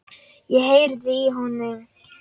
Ég heyrði í honum!